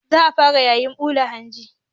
Za a fara yayin ɓula hanji.